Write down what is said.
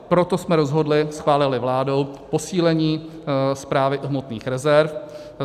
Proto jsme rozhodli, schválili vládou, posílení Správy hmotných rezerv.